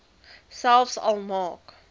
selfs al maak